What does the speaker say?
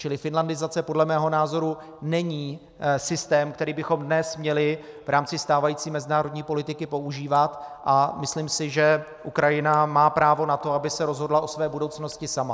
Čili finlandizace podle mého názoru není systém, který bychom dnes měli v rámci stávající mezinárodní politiky používat, a myslím si, že Ukrajina má právo na to, aby se rozhodla o své budoucnosti sama.